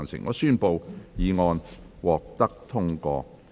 我宣布議案獲得通過。